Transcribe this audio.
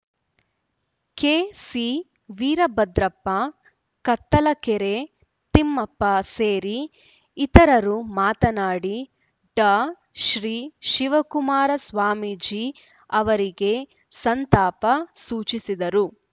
ಕೆಸಿವೀರಭದ್ರಪ್ಪ ಕತ್ತಲಗೆರೆ ತಿಮ್ಮಪ್ಪ ಸೇರಿ ಇತರರು ಮಾತನಾಡಿ ಡಾ ಶ್ರೀ ಶಿವಕುಮಾರ ಸ್ವಾಮೀಜಿ ಅವರಿಗೆ ಸಂತಾಪ ಸೂಚಿಸಿದರು